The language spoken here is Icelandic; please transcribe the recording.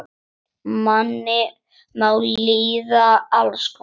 Manni má líða alls konar.